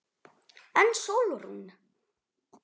En Sólrún?